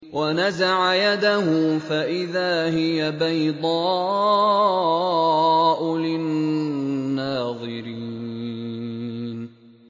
وَنَزَعَ يَدَهُ فَإِذَا هِيَ بَيْضَاءُ لِلنَّاظِرِينَ